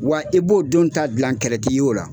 Wa i b'o denw ta dilan kɛlɛti ye o la.